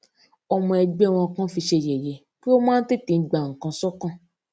ọmọ ẹgbẹ wọn kan fi í ṣe yèyé pé ó máa ń tètè gba nǹkan sókàn